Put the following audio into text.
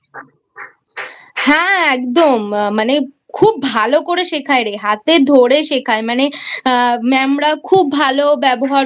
হ্যাঁ একদম মানে খুব ভালো করে শেখায় রে হাতে ধরে শেখায় মানে Ma'am রা খুব ভালো ব্যবহার করেI